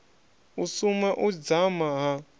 u suma u dzama ha